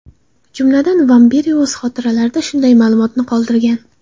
Jumladan, Vamberi o‘z xotiralarida shunday ma’lumotni qoldirgan.